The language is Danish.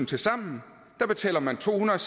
tilsammen betaler man tohundrede og